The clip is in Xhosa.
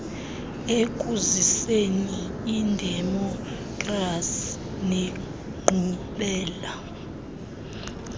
ekuziseni idemokhrasi nenkqubela